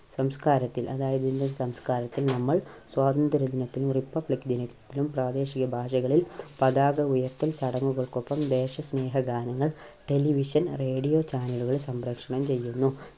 സംസ്കാരത്തിൽ അതായത് ഇന്ത്യൻ സംസ്കാരത്തിൽ നമ്മൾ സ്വാതന്ത്ര്യ ദിനത്തിലും Republic ദിനത്തിലും പ്രാദേശിക ഭാഷകളിൽ പതാക ഉയർത്തൽ ചടങ്ങുകൾക്കൊപ്പം ദേശസ്നേഹ ഗാനങ്ങൾ television radio channel കൾ സംപ്രേഷണം ചെയ്യുന്നു.